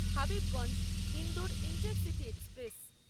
Habibganj Indore intercity express